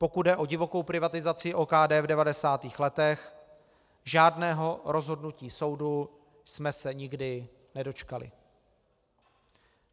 Pokud jde o divokou privatizaci OKD v 90. letech, žádného rozhodnutí soudu jsme se nikdy nedočkali.